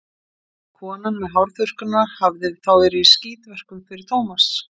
Konan með hárþurrkuna hafði þá verið í skítverkum fyrir Tómas.